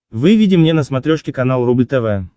выведи мне на смотрешке канал рубль тв